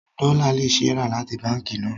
Dollar can be bought from the bank